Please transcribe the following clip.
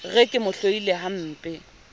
re ke mo hloile hampe